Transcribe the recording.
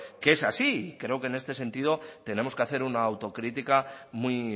que es así creo que en este sentido tenemos que hacer una autocrítica muy